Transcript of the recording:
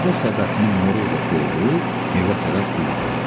Meşədə səbətini moruqla doldurub evə tərəf üz qoydu.